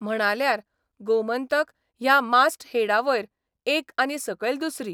म्हणाल्यार गोमंतक ह्या मास्टहेडावयर एक आनी सकयल दुसरी.